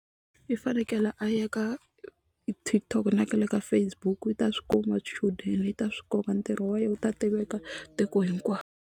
I fanekele a ya ka TikTok na le ka Facebook i ta swi kuma swichudeni i ta swi kuma ntirho wa yehe wu ta tiveka tiko hinkwaro.